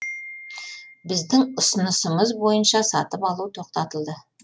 біздің ұсынысымыз бойынша сатып алу тоқтатылды